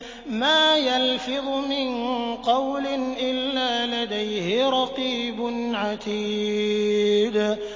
مَّا يَلْفِظُ مِن قَوْلٍ إِلَّا لَدَيْهِ رَقِيبٌ عَتِيدٌ